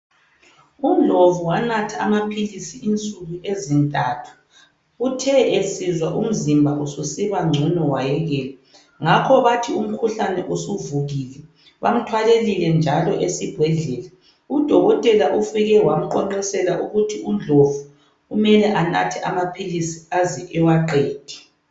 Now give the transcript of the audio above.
UNdlovu wanatha amaphilisi insuku ezintathu uthe esizwa umzimba ususiba ngcono wayekela ngakho bathi umkhuhlane usuvukile bamthwalelile njalo esibhedlela. Udokotela ufike wamqonqosela ukuthi Ndlovu kumele anathe amaphilisi aze ewaqede.